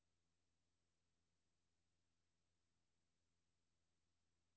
Flyet er nu blevet gennemchecket, og vi kan gøre klar til afgang om et øjeblik.